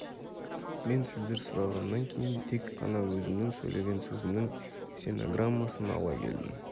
мен сіздер сұрағаннан кейін тек қана өзімнің сөйлеген сөзімнің стенограммасын ала келдім